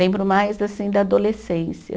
Lembro mais assim da adolescência.